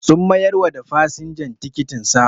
Sun mayar wa da fasinjan tikitin sa.